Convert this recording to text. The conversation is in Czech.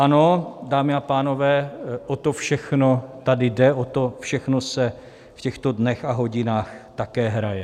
Ano, dámy a pánové, o to všechno tady jde, o to všechno se v těchto dnech a hodinách také hraje.